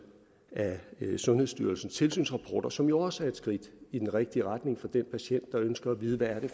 af sundhedsstyrelsens tilsynsrapport som jo også er et skridt i den rigtige retning for den patient der ønsker at vide hvad det